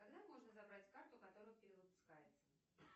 когда можно забрать карту которая перевыпускается